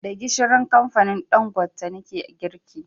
Da gishirin kamfanin Ɗangote nake girki